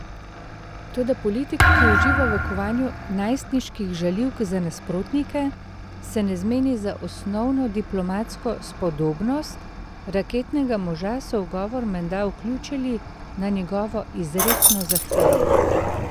Toda politik, ki uživa v kovanju najstniških žaljivk za nasprotnike, se ne zmeni za osnovno diplomatsko spodobnost, raketnega moža so v govor menda vključili na njegovo izrecno zahtevo.